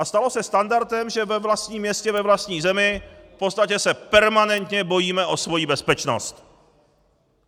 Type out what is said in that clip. A stalo se standardem, že ve vlastním městě, ve vlastní zemi v podstatě se permanentně bojíme o svoji bezpečnost.